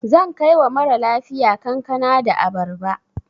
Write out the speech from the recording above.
Zan kai wa mara lafiya kankana da abarba.